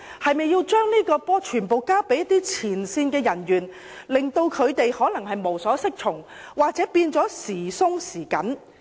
是否把這些問題全部交給前線人員處理，而可能令他們無所適從，或變成處理手法"時鬆時緊"？